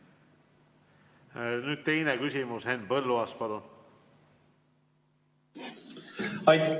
Nüüd teine küsimus, Henn Põlluaas, palun!